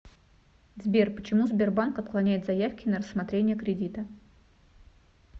сбер почему сбербанк отклоняет заявки на рассмотрение кредита